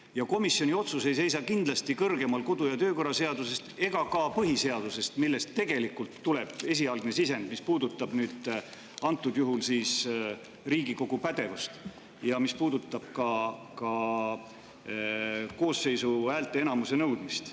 Ja komisjoni otsus ei seisa kindlasti kõrgemal kodu‑ ja töökorra seadusest ega ka põhiseadusest, millest tegelikult tuleb esialgne sisend, mis puudutab antud juhul Riigikogu pädevust ja ka koosseisu häälteenamuse nõudmist.